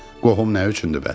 Qohum nə üçündür bəs?